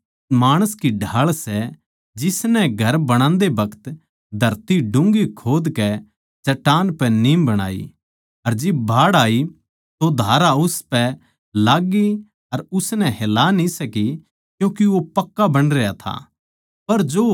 वो उस माणस की ढाळ सै जिसनै घर बणादें बखत धरती डून्घी खोदकै चट्टान पर नीम बणाई अर जिब बाढ़ आई तो धारा उस घर पै लाग्गी पर उसनै हला न्ही सकी क्यूँके वो पक्का बणरया था